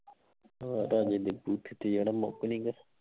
ਹਾਂ ਮੁੱਕ ਨਹੀਂ ਗਾ